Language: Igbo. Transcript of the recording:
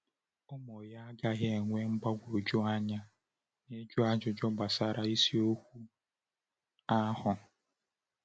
Ụmụ ya agaghị enwe mgbagwoju anya n’ịjụ ajụjụ gbasara isiokwu ahụ.